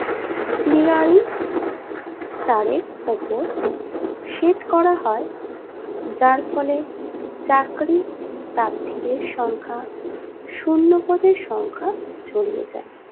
তারের ওপর set করা হয় যারফলে চাকরি প্রার্থীদের সংখ্যা শুন্য পদের সংখ্যা ছড়িয়ে যায়